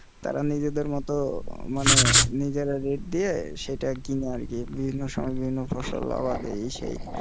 তারা নিজেদের মতো মানে নিজেরা rate দিয়ে সেটা কিনে আরকি বিভিন্ন সময় বিভিন্ন ফসল আবাদ এই সেই।